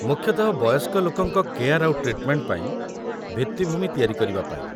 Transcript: ମୁଖ୍ୟତଃ ବୟସ୍କ ଲୋକଙ୍କ କେୟାର୍‌ ଆଉ ଟ୍ରିଟ୍‌ମେଣ୍ଟ ପାଇଁ ଭିତ୍ତିଭୂମି ତିଆରି କରିବା ପାଇଁ ।